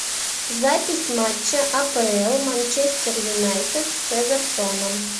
запись матча апл манчестер юнайтед с эвертоном